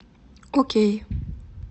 окей